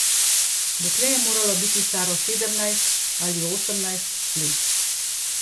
Dekle je moralo biti staro sedemnajst ali osemnajst let.